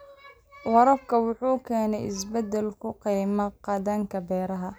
Waraabka wuxuu keenaa isbeddel ku yimaada dhaqanka beeraha.